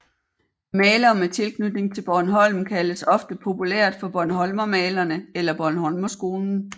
Malere med tilknytning til Bornholm kaldes ofte populært for bornholmermalerne eller bornholmerskolen